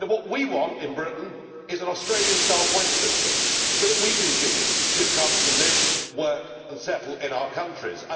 What we want in Britain is an Australian style points system so that we can choose who comes to live, work and settle in our countries.